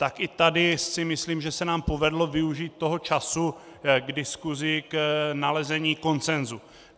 Tak i tady si myslím, že se nám povedlo využít toho času k diskusi k nalezení konsenzu.